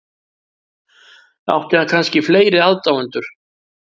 Átti hann kannski fleiri aðdáendur?